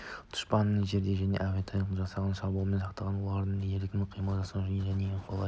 дұшпанның жерден және әуеден тұтқиылдан жасаған шабуылынан сақтандыру оларға еркін қимыл жасау және ең қолайлы